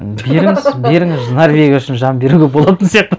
беріңіз беріңіз норвегия үшін жан беруге болатын сияқты